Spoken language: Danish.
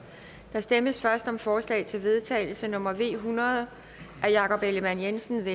der stemmes først om forslag til vedtagelse nummer v hundrede af jakob ellemann jensen